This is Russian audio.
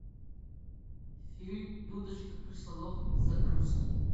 фильм дудочка крысолова загрузки